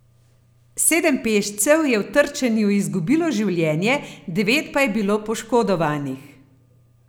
Sedem peščev je v trčenju izgubilo življenje, devet pa je bilo poškodovanih.